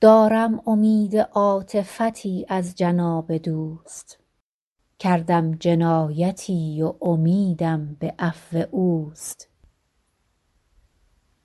دارم امید عاطفتی از جناب دوست کردم جنایتی و امیدم به عفو اوست